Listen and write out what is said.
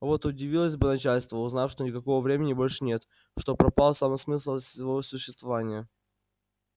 вот удивилось бы начальство узнав что никакого времени больше нет что пропал сам смысл его существования